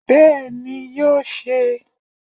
Bẹ́ẹ̀ni ni yóò se